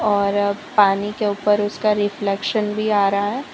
और पानी के ऊपर उसका रिफ्लेक्शन भी आ रहा है।